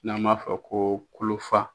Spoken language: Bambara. N'an b'a fɔ ko kolofa.